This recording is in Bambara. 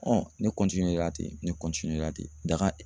ne na ten, ne na ten ,daga